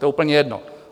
To je úplně jedno.